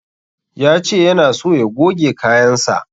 Ya ce yana so ya goge kayansa.